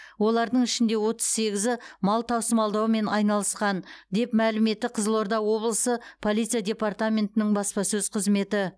олардың ішінде отыз сегізі мал тасымалдаумен айналысқан деп мәлім етті қызылорда облысы полиция департаментінің баспасөз қызметі